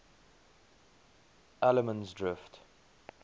allemansdrift